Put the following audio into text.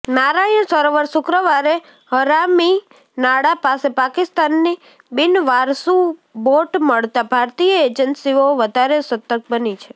નારાયણ સરોવરઃ શુક્રવારે હરામીનાળા પાસે પાકિસ્તાની બિનવારસુ બોટ મળતા ભારતીય એજન્સીઓ વધારે સતર્ક બની છે